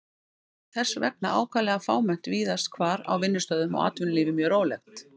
Það var þess vegna ákaflega fámennt víðast hvar á vinnustöðum og atvinnulífið mjög rólegt.